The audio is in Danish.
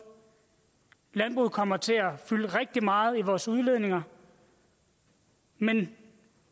landbruget kommer til at fylde rigtig meget i vores udledninger men